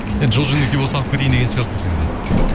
енді жол жөнекей болса алып кетейін деген шығарсың сен де